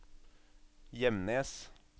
Gjemnes